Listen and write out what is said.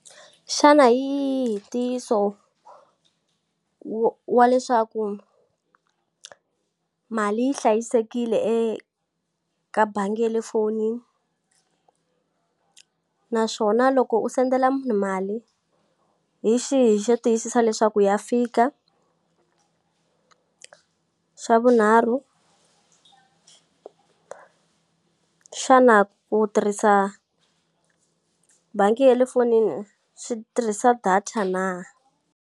Xana hi yihi ntiyiso wa wa leswaku mali yi hlayisekile eka bangi ya le fonini naswona loko u send-ela munhu mali, hi xihi xo tiyisisa leswaku ya fika xa vunharhu xana ku tirhisa bangi ya le fonini swi tirhisa data na?